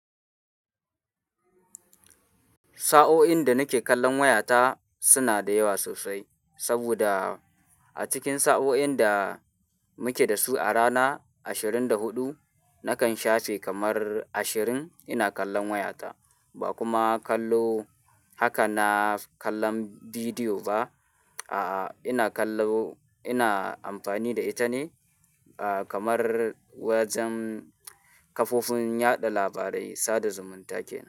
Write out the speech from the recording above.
Sa'o'in da nake kallon wayata suna da yawa sosai, saboda a cikin sa'o'in da muke da su a rana ashirin da huɗu, nakan shafe kamar ashirin ina kallon wayata. Ba kuma kallo haka na kallon bidiyo ba, a'a ina kallo ina amfani da ita ne, a'a kamar wajen kafofin yaɗa labarai, sada zumunta kenan.